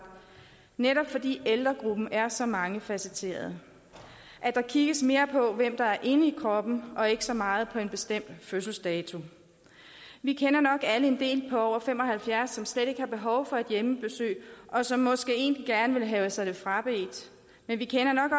netop fordi ældregruppen er så mangefacetteret at der kigges mere på hvem der er inde i kroppen og ikke så meget på en bestemt fødselsdato vi kender nok alle en del på over fem og halvfjerds år som slet ikke har behov for et hjemmebesøg og som måske egentlig gerne vil have sig det frabedt men vi kender nok